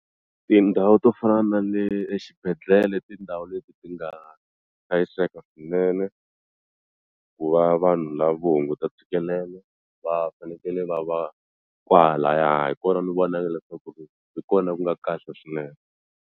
Tindhawu to fana na le exibedhlele tindhawu leti ti nga hlayiseka swinene ku va vanhu la vo hunguta ntshikelelo va fanekele va va kwahalaya hi kona ni vonaka leswaku ri hi kona ku nga kahle swinene.